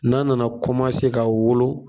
N'a nana komase ka wolo